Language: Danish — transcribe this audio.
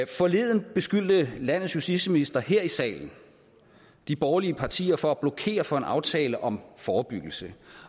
forleden beskyldte landets justitsminister her i salen de borgerlige partier for at blokere for en aftale om forebyggelse